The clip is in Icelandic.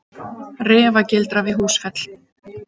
Refagildra við Húsfell.